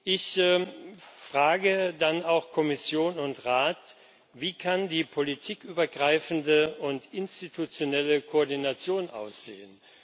Ich frage dann auch Kommission und Rat Wie kann die politikübergreifende und institutionelle Koordination aussehen?